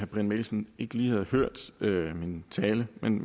brian mikkelsen ikke lige havde hørt min tale men